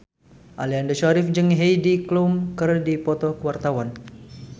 Aliando Syarif jeung Heidi Klum keur dipoto ku wartawan